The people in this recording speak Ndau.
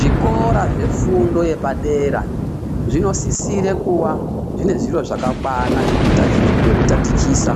Zvikora zvefundo yepadera zvinosisira kuaa zviine zviro zvakakwana zvekutatichisa,